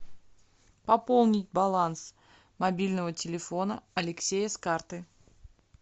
пополнить баланс мобильного телефона алексея с карты